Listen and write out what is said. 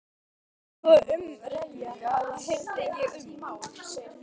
Aðra tvo umrenninga heyrði ég um.